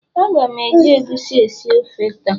A ga m eji egusi esi ofe taa